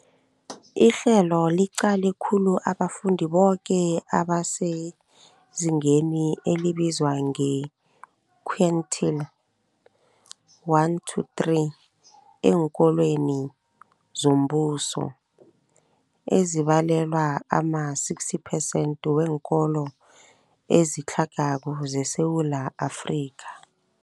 Ihlelo liqale khulu abafundi boke abasezingeni elibizwa nge-quintile 1-3 eenkolweni zombuso, ezibalelwa ema-60 phesenthi weenkolo ezitlhagako zeSewula Afrika.